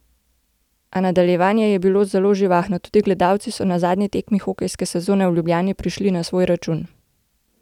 A nadaljevanje je bilo zelo živahno, tudi gledalci so na zadnji tekmi hokejske sezone v Ljubljani prišli na svoj račun.